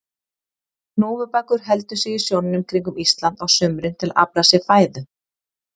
Hnúfubakur heldur sig í sjónum kringum Ísland á sumrin til að afla sér fæðu.